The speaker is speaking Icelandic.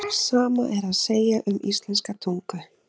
Sama er að segja um íslenska tungu.